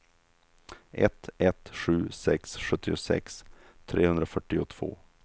ett ett sju sex sjuttiosex trehundrafyrtiotvå